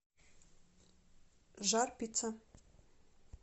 жар пицца